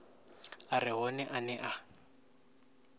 a re hone ane a